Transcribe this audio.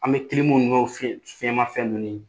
An bɛ kilimu ninnu fiɲɛn fiɲɛn ma fɛn ninnu